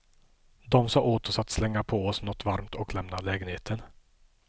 De sa åt oss att slänga på oss något varmt och lämna lägenheten.